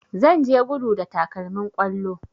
Zan je gudu da takalmin kwallo